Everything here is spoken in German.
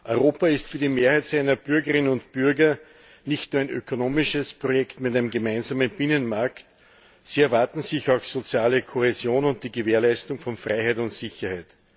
Europa ist für die Mehrheit seiner Bürgerinnen und Bürger nicht nur ein ökonomisches Projekt mit einem gemeinsamen Binnenmarkt, sie erwarten sich auch soziale Kohäsion und die Gewährleistung von Freiheit und Sicherheit.